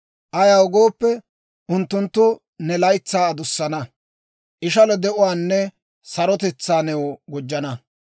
Ayaw gooppe, unttunttu ne laytsaa adussana; ishalo de'uwaanne sarotetsaa new gujjana.